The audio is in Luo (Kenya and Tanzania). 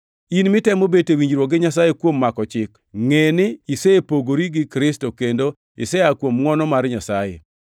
In mitemo bet e winjruok gi Nyasaye kuom mako chik, ngʼeni isepogori gi Kristo; kendo isea kuom ngʼwono mar Nyasaye.